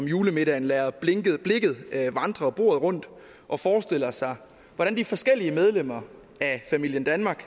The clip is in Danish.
julemiddagen lader blikket vandre bordet rundt og forestiller sig hvordan de forskellige medlemmer af familien danmark